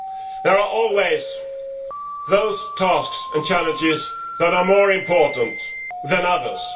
There are always those tasks and challenges that are more important than others.